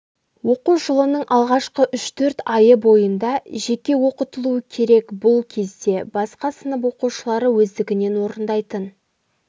оқу жылының алғашқы үш-төрт айы бойында жеке оқытылуы керек бұл кезде басқа сынып оқушылары өздігінен орындайтын